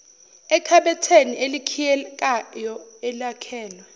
ekhabetheni elikhiyekayo elakhelwe